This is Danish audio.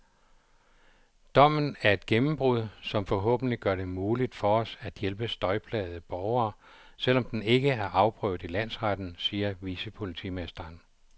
Dommen er et gennembrud, som forhåbentlig gør det muligt for os at hjælpe støjplagede borgere, selv om den ikke er afprøvet i landsretten, siger vicepolitimesteren.